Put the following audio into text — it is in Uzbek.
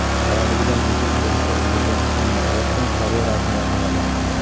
Bolaligidan yulduz bo‘lishga ulgurgan Emma Uotson karyerasini yakunlamoqda.